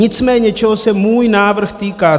Nicméně čeho se můj návrh týká.